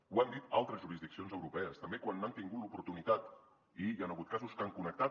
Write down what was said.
ho han dit altres jurisdiccions europees també quan n’han tingut l’oportunitat i hi han hagut casos que han connectat